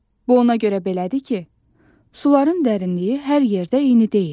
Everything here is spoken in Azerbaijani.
Bu ona görə belədir ki, suların dərinliyi hər yerdə eyni deyil.